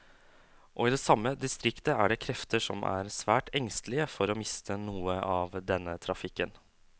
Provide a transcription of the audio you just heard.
Og i det samme distriktet er det krefter som er svært engstelige for å miste noe av denne trafikken.